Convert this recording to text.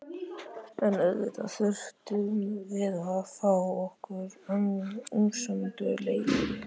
En auðvitað þurftum við að fá okkar umsömdu leigu.